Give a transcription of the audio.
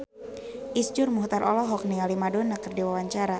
Iszur Muchtar olohok ningali Madonna keur diwawancara